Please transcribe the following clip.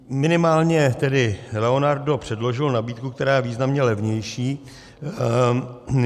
Minimálně tedy Leonardo předložila nabídku, která je významně levnější.